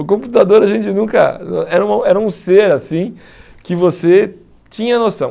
O computador a gente nunca... Era um era um ser assim que você tinha noção.